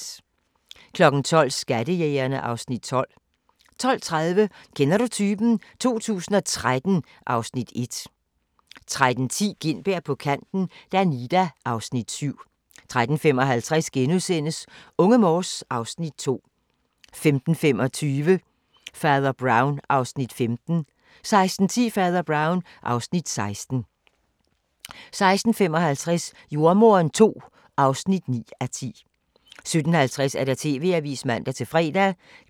12:00: Skattejægerne (Afs. 12) 12:30: Kender du typen? 2013 (Afs. 1) 13:10: Gintberg på kanten - Danida (Afs. 7) 13:55: Unge Morse (Afs. 2)* 15:25: Fader Brown (Afs. 15) 16:10: Fader Brown (Afs. 16) 16:55: Jordemoderen II (9:10) 17:50: TV-avisen (man-fre)